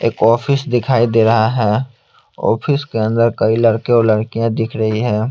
एक ऑफिस दिखाई दे रहा है ऑफिस के अंदर कई लड़के और लड़कियाँ दिख रही हैं।